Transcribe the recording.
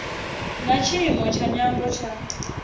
na tshiimo tsha nyambo tsha